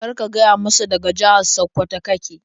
Kar ka gaya masa daga jihar Sakkwato ka ke.